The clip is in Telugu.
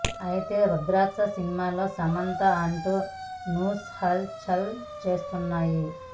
అయితే రుద్రాక్ష సినిమాలో సమంత అంటూ న్యూస్ హల్ చల్ చేస్తున్నాయి